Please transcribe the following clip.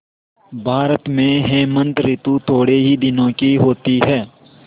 भारत में हेमंत ॠतु थोड़े ही दिनों की होती है